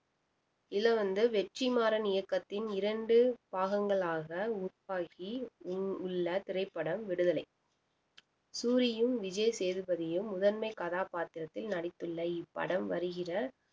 இதுல வந்து வெற்றிமாறன் இயக்கத்தின் இரண்டு பாகங்களாக உருவாக்கி உள்~ உள்ள திரைப்படம் விடுதலை சூரியும் விஜய் சேதுபதியும் முதன்மை கதாபாத்திரத்தில் நடித்துள்ள இப்படம் வருகிற